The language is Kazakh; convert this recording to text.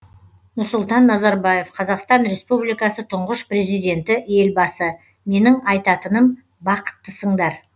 нұрсұлтан назарбаев қазақстан республикасы тұңғыш президенті елбасы менің айтатыным бақыттысыңдар